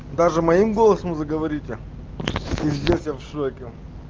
даже моим голосом заговорите пиздец я в шоке